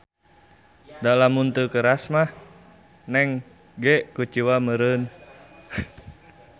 Da lamun teu keras mah Neng ge kuciwa meuereun.